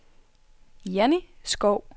Janni Skou